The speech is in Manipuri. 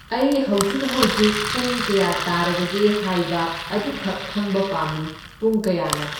ꯑꯩ ꯍꯧꯖꯤꯛ ꯍꯧꯖꯤꯛ ꯄꯨꯡ ꯀꯌꯥ ꯇꯥꯔꯕꯒꯦ ꯍꯥꯏꯕ ꯑꯗꯨꯈꯛ ꯈꯪꯕ ꯄꯥꯝꯃꯤ, ꯄꯨꯡ ꯀꯌꯥꯅꯣ?